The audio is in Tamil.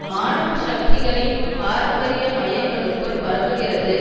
மாணவ சக்திகளின் பாரம்பரிய மயங்களுக்குள் பரவுகிறது